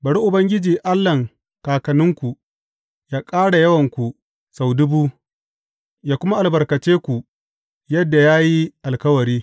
Bari Ubangiji, Allahn kakanninku yă ƙara yawanku sau dubu, yă kuma albarkace ku yadda ya yi alkawari!